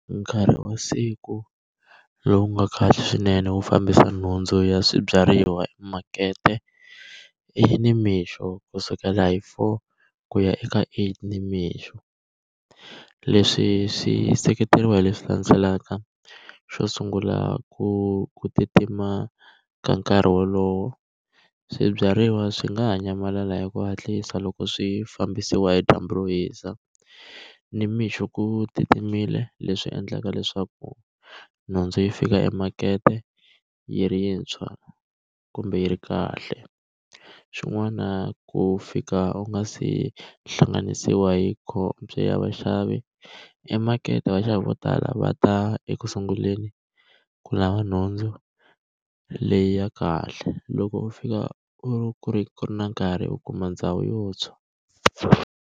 Nkarhi wa siku lowu nga kahle swinene wu fambisa nhundzu ya swibyariwa makete, i nimixo kusukela hi four ku ya ka eight nimixo. Leswi swi seketeriwa hi leswi landzelaka. Xo sungula ku ku titimela ka nkarhi wolowo, swibyariwa swi nga ha nyamalala hi ku hatlisa loko swi fambisiwa hi dyambu ro hisa. Nimixo ku titimerile leswi endlaka leswaku nhundzu yi fika emakete yi rintshwa, kumbe yi ri kahle. Xin'wana ku fika u nga se hlanganisiwa hi ya vaxavi, emakete vaxavi vo tala va ta ekusunguleni ku lava nhundzu leyi ya kahle, loko u fika u ri ku ri ku na nkarhi u kuma ndhawu yo tshwa.